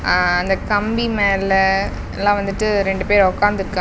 ஆ அந்த கம்பி மேல எல்லா வந்துட்டு ரெண்டு பேர் ஒக்காந்ருக்கா --